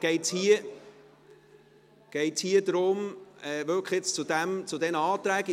… Es geht darum, jetzt wirklich zu diesen Anträgen …